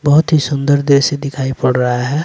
बहुत ही सुंदर दृश्य दिखाई पड़ रहा है।